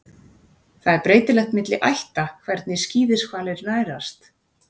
Það er breytilegt milli ætta hvernig skíðishvalir nærast.